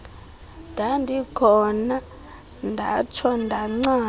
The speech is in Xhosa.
ndandikhona ndatsho ndancama